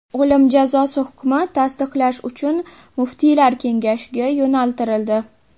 O‘lim jazosi hukmi tasdiqlash uchun muftiylar kengashiga yo‘naltirildi.